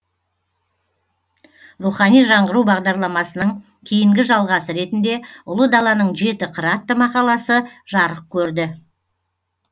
рухани жаңғыру бағдарламасының кейінгі жалғасы ретінде ұлы даланың жеті қыры атты мақаласы жарық көрді